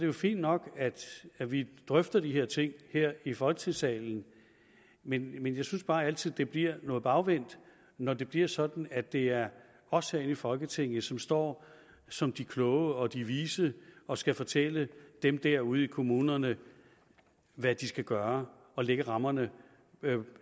er fint nok at vi drøfter de her ting her i folketingssalen men jeg synes bare altid at det bliver noget bagvendt når det bliver sådan at det er os herinde i folketinget som står som de kloge og de vise og skal fortælle dem derude i kommunerne hvad de skal gøre og lægge rammerne